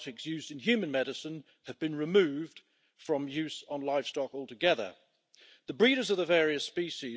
Antibiotica zijn in sommige lidstaten nog steeds goedkoper dan een pakje kauwgum of andere zaken. Daarom worden er te weinig nieuwe antibiotica ontwikkeld.